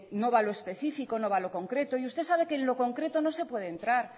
no va a lo específico no va a lo concreto y usted sabe que en lo concreto no se puede entrar